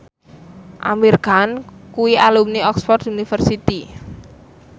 Amir Khan kuwi alumni Oxford university